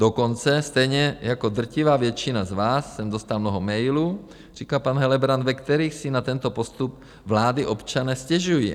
Dokonce stejně jako drtivá většina z vás jsem dostal mnoho mailů, říká pan Helebrant, ve kterých si na tento postup vlády občané stěžují.